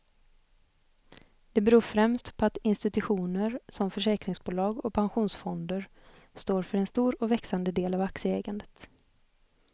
Det beror främst på att institutioner som försäkringsbolag och pensionsfonder står för en stor och växande del av aktieägandet.